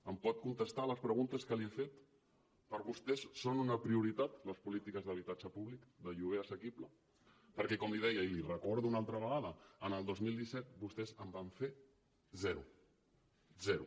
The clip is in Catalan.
em pot contestar les preguntes que li he fet per vostès són una prioritat les polítiques d’habitatge públic de lloguer assequible perquè com li deia i l’hi recordo una altra vegada en el dos mil disset vostès en van fer zero zero